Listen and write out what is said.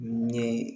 Ni